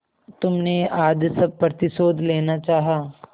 तुमने आज सब प्रतिशोध लेना चाहा